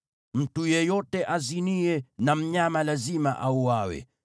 “Mtu yeyote aziniye na mnyama lazima auawe.